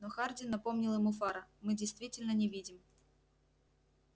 но хардин напомнил ему фара мы действительно не видим